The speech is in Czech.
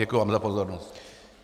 Děkuji vám za pozornost.